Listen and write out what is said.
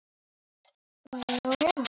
Ebba gat nánast allt.